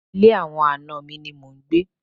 Ilé àwọn àna mi ni mò ń gbé.